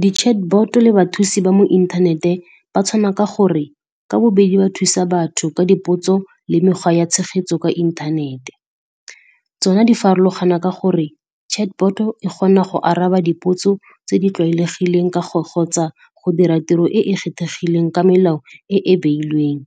Di chatbot le bathusi ba mo inthanete ba tshwana ka gore ka bobedi ba thusa batho ka dipotso le mekgwa ya tshegetso kwa inthanete. Tsona di farologana ka gore chatbot-o e kgona go araba dipotso tse di tlwaelegileng ka go gotsa go dira tiro e e kgethegileng ka melao e e beilweng.